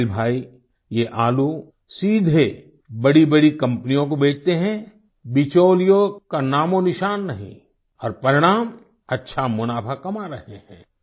इस्माइल भाई ये आलू सीधे बड़ीबड़ी कंपनियों को बेचते हैं बिचौलियों का नामोंनिशान नहीं और परिणाम अच्छा मुनाफा कमा रहे हैं